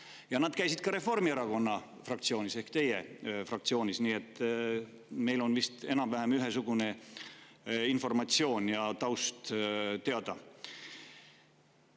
Ja nad käisid ka Reformierakonna fraktsioonis ehk teie fraktsioonis, nii et meil on vist enam‑vähem ühesugune informatsioon ja taust teada.